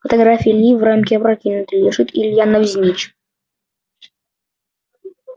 фотография ильи в рамке опрокинуты лежит илья навзничь